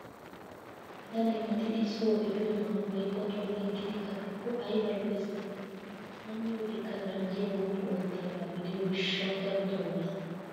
Bitanee maxidi soo epiyoo manggoyi otuwan yeggidi kattikko ayibaa lo"es giidetii. A miyoodekka ganjjiyaa woppu oottiyaaba gidiyoo gishshawu darotoo mayis.